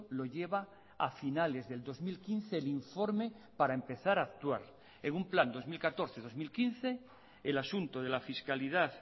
lo lleva a finales del dos mil quince el informe para empezar a actuar en un plan dos mil catorce dos mil quince el asunto de la fiscalidad